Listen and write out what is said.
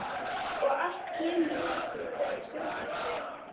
Og allt kemur það til af stjórnleysi.